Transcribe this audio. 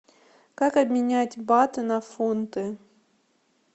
как обменять баты на фунты